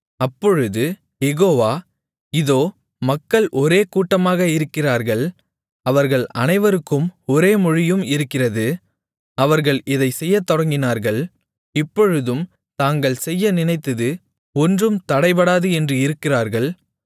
அப்பொழுது யெகோவா இதோ மக்கள் ஒரே கூட்டமாக இருக்கிறார்கள் அவர்கள் அனைவருக்கும் ஒரே மொழியும் இருக்கிறது அவர்கள் இதைச் செய்யத்தொடங்கினார்கள் இப்பொழுதும் தாங்கள் செய்ய நினைத்தது ஒன்றும் தடைபடாது என்று இருக்கிறார்கள்